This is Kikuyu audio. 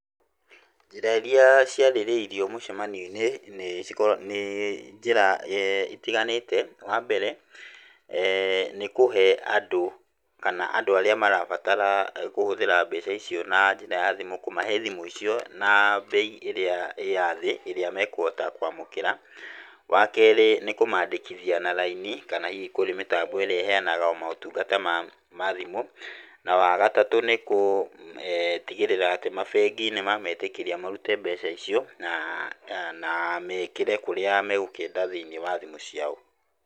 Njĩra iria ciarĩrĩirio mũcemanio-inĩ nĩ nĩ ci, nĩ njĩra itiganĩte wa mbere nĩ kũhe andũ kana andũ arĩa marabatara kũhũthĩra mbeca icio na njĩra ya thimũ. Kũmahe thimũ icio na mbei ĩrĩa ya thĩ ĩrĩa mekũhota kwamũkĩra, wa kerĩ nĩ kũmandĩkithia na raini kana hihi kũrĩ mĩtambo ĩrĩa ĩheanaga motungata ma thimũ. Na wagatatũ nĩ gũtigĩrĩra mabengi nĩ ma metĩkĩria marute mbeca icio na mekĩre kũrĩa megũkĩenda thĩinĩ wa thimũ ciao.